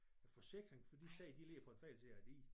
Æ forsikring for de siger de ligger på æ fejl side af æ dige